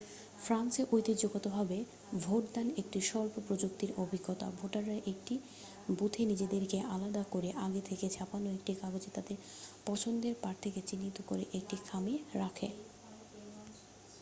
ফ্রান্সে ঐতিহ্যগতভাবে ভোটদান একটি স্বল্প প্রযুক্তির অভিজ্ঞতা ভোটাররা একটি বুথে নিজেদেরকে আলাদা করে আগে থেকে ছাপানো একটি কাগজে তাদের পছন্দের প্রার্থীকে চিহ্নিত করে একটি খামে রাখে